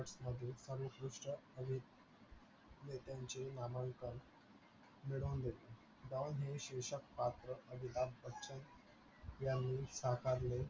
मध्ये सर्व श्रेष्ट अभिनेत्यांचे नामांकन मिळवून दिले don हे शीर्षक पात्र अमिताभ बच्चन यांनी साकारले